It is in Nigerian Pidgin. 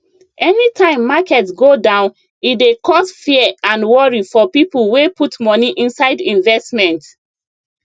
anytime market go down e dey cause fear and worry for people wey put money inside investment